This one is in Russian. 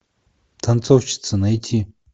танцовщица найти